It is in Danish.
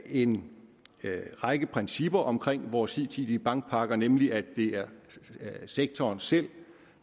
en række principper omkring vores hidtidige bankpakker nemlig at det er sektoren selv